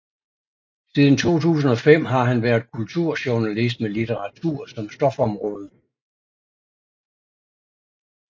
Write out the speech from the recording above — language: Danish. Siden 2005 har han været kulturjournalist med litteratur som stofområde